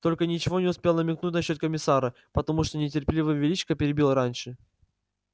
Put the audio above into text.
только ничего не успел намекнуть насчёт комиссара потому что нетерпеливый величко перебил раньше